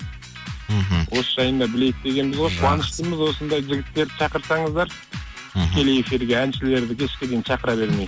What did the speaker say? мхм осы жайында білейік дегеніміз ғой жақсы қуаныштымыз осындай жігіттерді шақырсаңыздар мхм тікелей эфирге әншілерді кешке дейін шақыра бермей